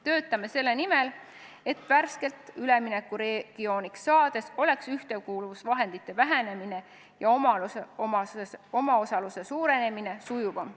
Töötame selle nimel, et värskelt üleminekuregiooniks saades oleks ühtekuuluvusvahendite vähenemine ja omaosaluse suurenemine sujuvam.